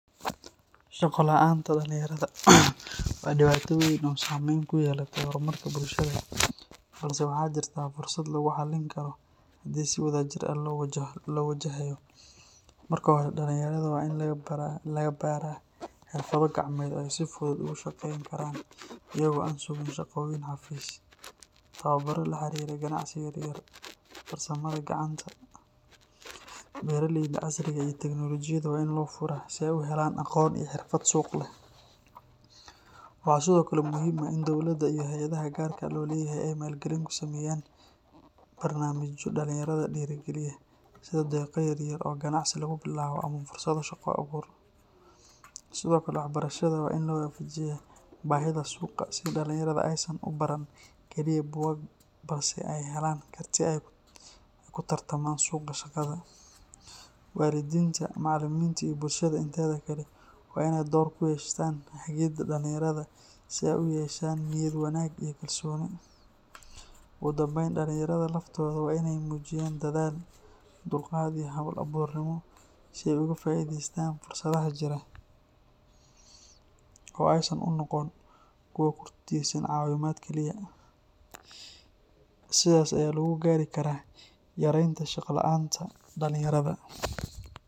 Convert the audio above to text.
Shaqo la’aanta dhalinyarada waa dhibaato weyn oo saamayn ku yeelatay horumarka bulshada, balse waxaa jirta fursad lagu xallin karo haddii si wadajir ah loo wajahayo. Marka hore, dhalinyarada waa in la baraa xirfado gacmeed oo ay si fudud ugu shaqaysan karaan iyagoo aan sugin shaqooyin xafiis. Tababaro la xiriira ganacsi yar yar, farsamada gacanta, beeralayda casriga ah iyo teknolojiyadda waa in loo furaa si ay u helaan aqoon iyo xirfad suuq leh. Waxaa sidoo kale muhiim ah in dowladda iyo hay’adaha gaarka loo leeyahay ay maalgelin ku sameeyaan barnaamijyo dhalinyarada dhiirrigeliya, sida deeqo yar yar oo ganacsi lagu bilaabo ama fursado shaqo-abuur. Sidoo kale, waxbarashada waa in la waafajiyaa baahida suuqa si dhalinyarada aysan u baran kaliya buugaag balse ay helaan karti ay ku tartamaan suuqa shaqada. Waalidiinta, macallimiinta iyo bulshada inteeda kale waa inay door ku yeeshaan hagidda dhalinyarada si ay u yeeshaan niyad wanaag iyo kalsooni. Ugu dambayn, dhalinyarada laftooda waa inay muujiyaan dadaal, dulqaad iyo hal-abuurnimo si ay uga faa’iideystaan fursadaha jira oo aysan u noqon kuwo ku tiirsan caawimaad kaliya. Sidan ayaa lagu gaari karaa yareynta shaqo la’aanta dhalinyarada.